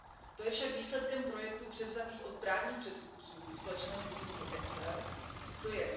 To je však výsledkem projektů převzatých od právních předchůdců společného podniku ECSEL, tj.